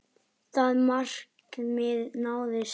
Það markmið náðist.